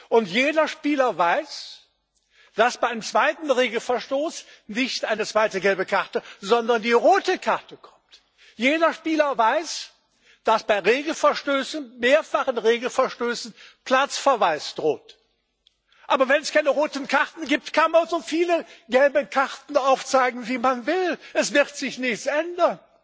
Und jeder Spieler weiß, dass bei einem zweiten Regelverstoß nicht eine zweite gelbe Karte, sondern die rote Karte kommt. Jeder Spieler weiß, dass bei mehrfachen Regelverstößen Platzverweis droht. Aber wenn es keine roten Karten gibt, kann man so viele gelbe Karten zeigen, wie man will, es wird sich nichts ändern!